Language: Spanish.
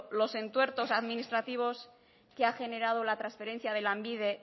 los entuertos administrativos que ha generado la transferencia de lanbide